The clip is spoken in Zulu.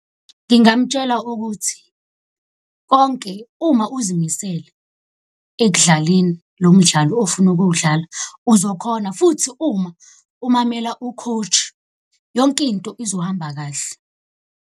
Ngingamutshela ukuthi konke uma uzimisele ekudlaleni lo mdlalo ofuna ukuwudlala uzokhona, futhi uma umamela u-coach yonkinto izohamba kahle.